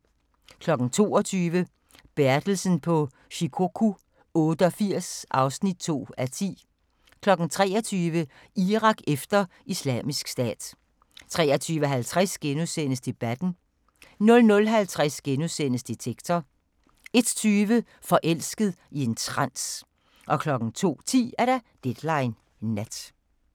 22:00: Bertelsen på Shikoku 88 (2:10) 23:00: Irak efter Islamisk Stat 23:50: Debatten * 00:50: Detektor * 01:20: Forelsket i en trans 02:10: Deadline Nat